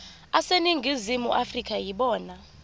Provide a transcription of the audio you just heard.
aseningizimu afrika yibona